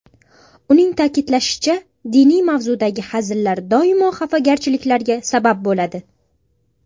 Uning ta’kidlashicha, diniy mavzudagi hazillar doimo xafagarchiliklarga sabab bo‘ladi.